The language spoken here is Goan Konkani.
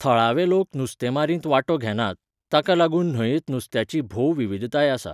थळावे लोक नुस्तेमारेंत वांटो घेनात, ताका लागून न्हंयेंत नुस्त्याची भोव विविधताय आसा.